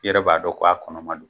I yɛrɛ b'a dɔn ko a kɔnɔma don